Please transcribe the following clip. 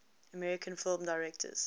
american film directors